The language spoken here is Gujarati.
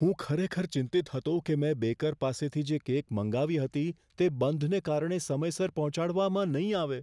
હું ખરેખર ચિંતિત હતો કે મેં બેકર પાસેથી જે કેક મંગાવી હતી તે બંધને કારણે સમયસર પહોંચાડવામાં નહીં આવે.